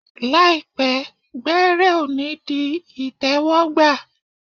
Làìpẹ́, gbẹ́rẹ́ ọ̀ ní di ìtẹ́wọ́gbà tẹ́wọ́gbà